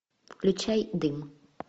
включай дым